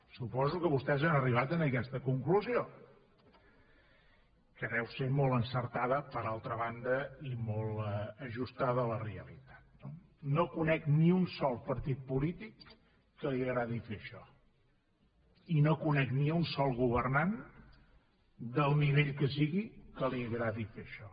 suposo que vostès han arribat a aquesta conclusió que deu ser molt encertada per altra banda i molt ajustada a la realitat no no conec ni un sol partit polític que li agradi fer això i no conec ni un sol governant del nivell que sigui que li agradi fer això